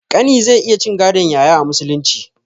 Ƙani zai iya cin gadon yaya a musulunci